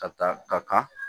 Ka taa ka kan